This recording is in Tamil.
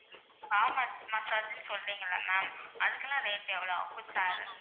spa massage னு சொல்றீங்கல்ல ma'am அதுக்கெல்லாம் rate எவ்வளோ ஆகும்?